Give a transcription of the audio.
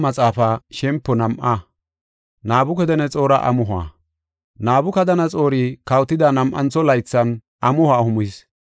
Nabukadanaxoori kawotida nam7antho laythan amuho amuhis. He amuhoy iya daganthin, dhiskoy iya ekonna ixis.